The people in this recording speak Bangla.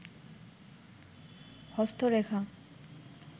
হস্তরেখা